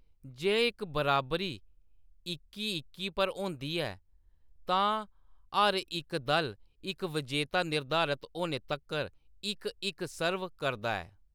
जे इक बराबरी इक्की-इक्की पर होंदी ऐ, तां हर इक दल इक विजेता निर्धारत होने तक्कर इक-इक सर्व करदा ऐ।